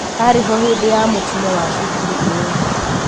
arĩho hĩndĩ ya mũtino wa cukuru ĩyo.